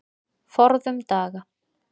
Forðum daga.